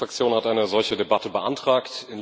Die Linksfraktion hat eine solche Debatte beantragt.